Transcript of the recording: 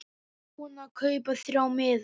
Búinn að kaupa þrjá miða.